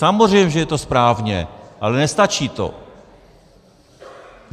Samozřejmě že je to správně, ale nestačí to.